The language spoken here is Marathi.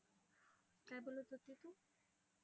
काय बोलत होती तू?